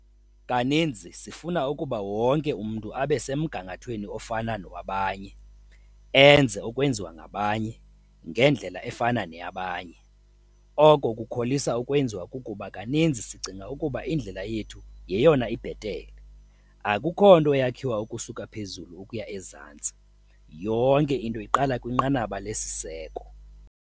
Kaninzi sifuna ukuba wonke umntu abe semgangathweni ofana nowabanye enze okwenziwa ngabanye ngendlela efana neyabanye, oko kukholisa ukwenziwa kukuba kaninzi sicinga ukuba indlela yethu yeyona ibhetele. Akukho nto yakhiwa ukusuka phezulu ukuya ezantsi - yonke into iqala kwinqanaba lesiseko.